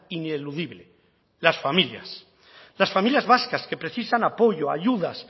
ineludible las familias las familias vascas que precisan apoyo ayudas